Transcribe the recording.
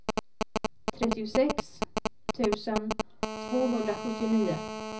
trettiosex tusen tvåhundrasjuttionio